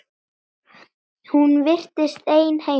Hún virtist ein heima.